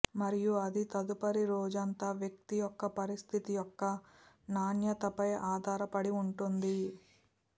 మరియు అది తదుపరి రోజంతా వ్యక్తి యొక్క పరిస్థితి యొక్క నాణ్యత పై ఆధారపడి ఉంటుంది